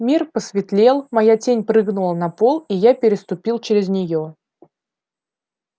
мир посветлел моя тень прыгнула на пол и я переступил через неё